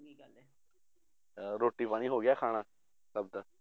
ਅਹ ਰੋਟੀ ਪਾਣੀ ਹੋ ਗਿਆ ਖਾਣਾ ਸਭ ਦਾ?